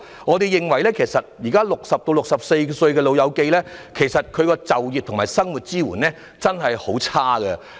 我們認為，現時60至64歲長者所獲的就業及生活支援確實很不理想。